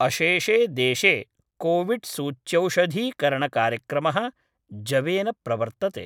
अशेषे देशे कोविड् सूच्यौषधीकरणकार्यक्रमः जवेन प्रवर्तते।